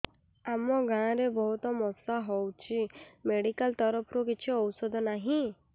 ଆମ ଗାଁ ରେ ବହୁତ ମଶା ହଉଚି ମେଡିକାଲ ତରଫରୁ କିଛି ଔଷଧ ନାହିଁ